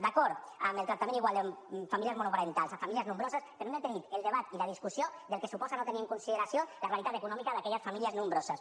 d’acord amb el tractament igual de famílies monoparentals amb famílies nombroses però hem de tenir el debat i la discussió del que suposa no tenir en consideració la realitat econòmica d’aquelles famílies nombroses